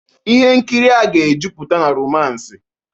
Ihe nkiri a ga-ejupụta na romance